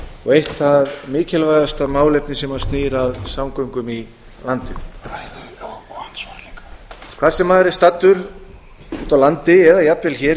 og eitt það mikilvægasta málefni sem snýr að samgöngum í landinu hvar sem maður er staddur úti á landi eða jafnvel hér